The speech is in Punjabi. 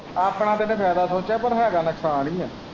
ਆਪਣਾ ਤੇ ਇਹਨੇ ਫਾਇਦਾ ਸੋਚਿਆਂ ਪਰ ਹੈਗਾ ਨੁਕਸਾਨ ਹੀ ਏ।